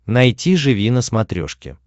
найти живи на смотрешке